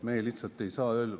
Me lihtsalt ei saa ...